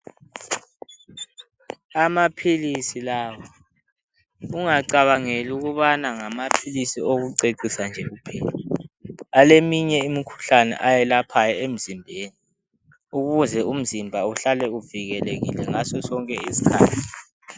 Amaphilisi lawa, ungacabangeli ukubana ngamaphilisi okucecisa nje kuphela, aleminye imikhuhlane ayelaphayo emzimbeni, ukuze umzimba uhlale uvikelekile ngasosonke isikhathi.